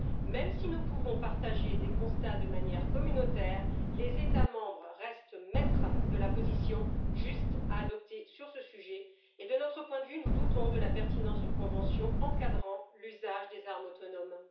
Même si nous pouvons partager des constats de manière communautaire, les États membres restent maîtres de la position juste à adopter sur ce sujet et, de notre point de vue, nous doutons de la pertinence d'une convention encadrant l'usage des armes autonomes.